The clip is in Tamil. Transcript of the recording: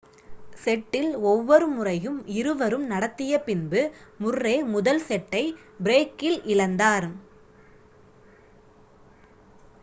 செட்டில் ஒவ்வொரு முறையும் இருவரும் நடத்திய பின்பு முர்ரே முதல் செட்டை டை பிரேக்கில் இழந்தார்